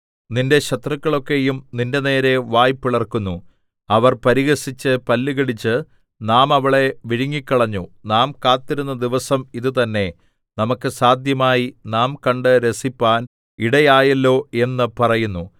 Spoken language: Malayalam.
നിന്റെ ശത്രുക്കളൊക്കെയും നിന്റെനേരെ വായ് പിളർക്കുന്നു അവർ പരിഹസിച്ച് പല്ലുകടിച്ച് നാം അവളെ വിഴുങ്ങിക്കളഞ്ഞു നാം കാത്തിരുന്ന ദിവസം ഇതുതന്നെ നമുക്ക് സാദ്ധ്യമായി നാം കണ്ട് രസിപ്പാൻ ഇടയായല്ലോ എന്ന് പറയുന്നു